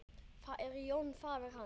Það er Jón faðir hans.